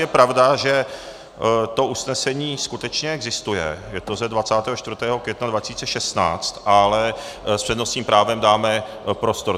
Je pravda, že to usnesení skutečně existuje, je to z 24. května 2016, ale s přednostním právem dáme prostor.